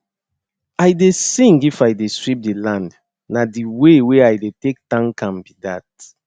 i dey sing if i dey sweep the land na the way wey i dey take thank am be that